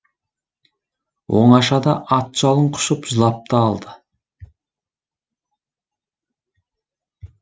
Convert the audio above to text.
оңашада ат жалын құшып жылап та алды